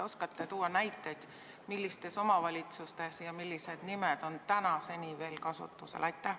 Oskate te tuua näiteid, millistes omavalitsustes ja millised nimed on tänaseni veel kasutusel?